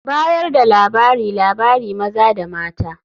Bayar da labariLabari maza da mata.